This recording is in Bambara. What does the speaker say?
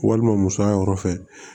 Walima musoya yɔrɔ fɛ